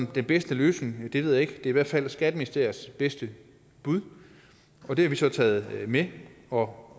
den bedste løsning ved er i hvert fald skatteministeriets bedste bud og det har vi så taget med og